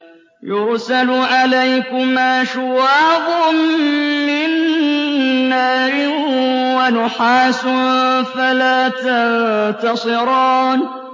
يُرْسَلُ عَلَيْكُمَا شُوَاظٌ مِّن نَّارٍ وَنُحَاسٌ فَلَا تَنتَصِرَانِ